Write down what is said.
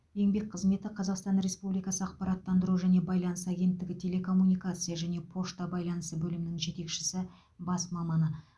еңбек қызметі қазақстан республикасы ақпараттандыру және байланыс агенттігі телекоммуникация және пошта байланысы бөлімінің жетекші бас маманы